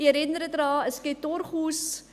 Ich erinnere daran, es gibt durchaus …